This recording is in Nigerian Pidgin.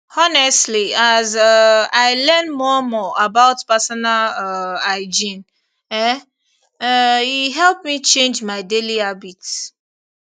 honestly as um i learn more more about personal um hygiene um um e help me change my daily habits